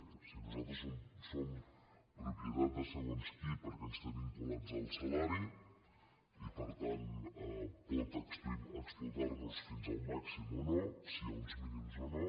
o sigui nosaltres som propie·tat de segons qui perquè ens té vinculats al salari i per tant pot explotar·nos fins al màxim o no si hi ha uns mínims o no